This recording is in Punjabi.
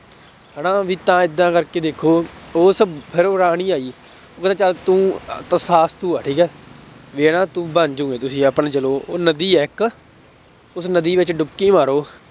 ਹਨਾ ਵੀ ਤਾਂ ਏਦਾਂ ਕਰਕੇ ਦੇਖੋ ਉਹ ਸਭ ਫਿਰ ਰਾਣੀ ਆਈ ਉਹ ਕਹਿੰਦਾ ਚੱਲ ਤੂੰ ਤਥਾਸਤੂ ਹੈ ਠੀਕ ਹੈ ਵੀ ਹਨਾ ਤੂੰ ਬਣ ਜਾਊਗੇ ਤੁਸੀਂ ਆਪਣੇ ਚਲੋ ਉਹ ਨਦੀ ਹੈ ਇੱਕ ਉਸ ਨਦੀ ਵਿੱਚ ਡੁਬਕੀ ਮਾਰੋ